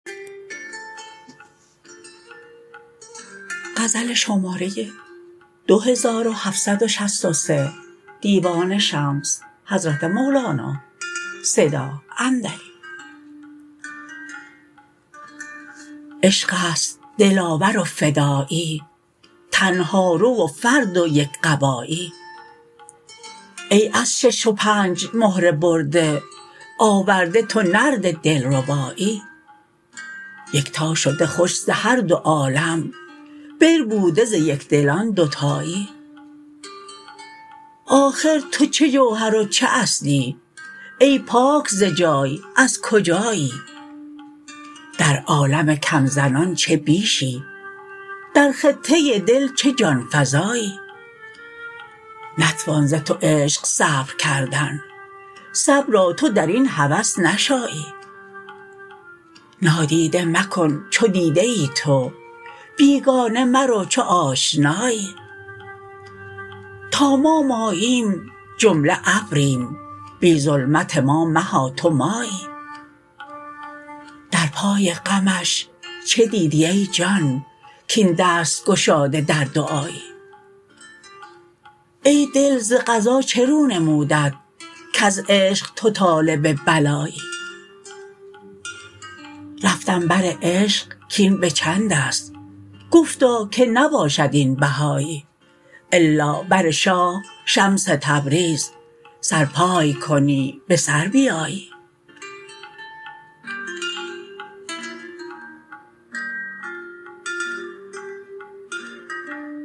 عشق است دلاور و فدایی تنهارو و فرد و یک قبایی ای از شش و پنج مهره برده آورده تو نرد دلربایی یکتا شده خوش ز هر دو عالم بربوده ز یک دلان دوتایی آخر تو چه جوهر و چه اصلی ای پاک ز جای از کجایی در عالم کم زنان چه بیشی در خطه دل چه جان فزایی نتوان ز تو عشق صبر کردن صبرا تو در این هوس نشایی نادیده مکن چو دیده ای تو بیگانه مرو چو آشنایی تا ما ماییم جمله ابریم بی ظلمت ما مها تو مایی در پای غمش چه دیدی ای جان کاین دست گشاده در دعایی ای دل ز قضا چه رو نمودت کز عشق تو طالب بلایی رفتم بر عشق کاین به چند است گفتا که نباشد این بهایی الا بر شاه شمس تبریز سر پای کنی به سر بیایی